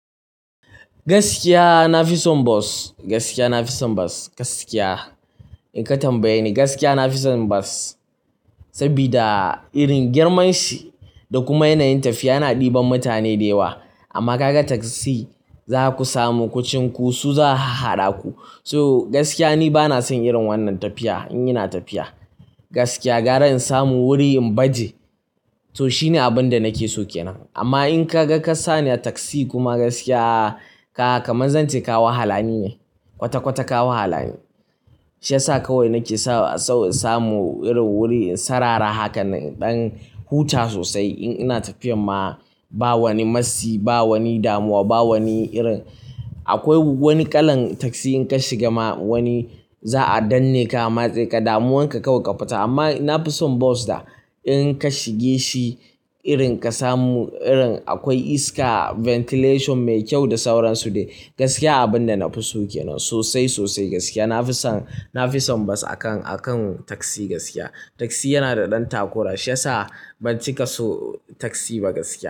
Gaskiya, na fi son bos. Gaskiya, in ka tambaye ni, na fi son bas sabida irin girman shi da kuma yanayin tafiya yana ɗiban mutane da yawa. Amma ka ga taksi, za ku samu kuchunku su za hahhaɗa ku. So gaskiya, ni ba na son wannan irin tafiya in ina tafiya. Gaskiya, ga ranin samu wuri in baje, so shine abin da nake so kenan. Amma in ka ga ka sani a taksi kuma gaskiya, kamar zan ce kawa wahalani ne, kwata-kwata kawa halani. Shi ya sa kawai nake sau saamu wurin sarara hakan in ɗan huta sosai in ina tafiyan ma. Ba wani matsi, ba wani damuwa, ba wani irin. Akwai wani kalan taksi in ka shiga ma wani, za a danne ka matse ka, damuwanka kawai ka fita. Amma na fi son bas da in ka shige shi irin ka samu iska, ventilation mai kyau da sauransu. Gaskiya, abin da na fi sokenan sosai sosai. Gaskiya, na fi son bas akan taksi. Taksi yana da ɗan takura shi ya sa ban cika so taksi ba gaskiya.